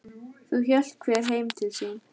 Þá hélt hver heim til sín.